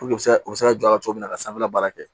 u bɛ se ka u bɛ se ka jɔ a la cogo min na ka sanfɛla baara kɛ